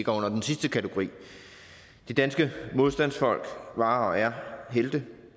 under den sidste kategori de danske modstandsfolk var og er helte